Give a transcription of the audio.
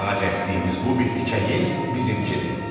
Ağac əkdiyimiz bu bir tikə yer bizimkidir.